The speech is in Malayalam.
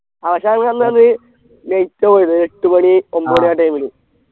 ആ പക്ഷേ അന്ന് നമ്മ നമ്മൾ late ആവെയ്തേ എട്ടു മണി ഒമ്പത് മണി ആ time ല്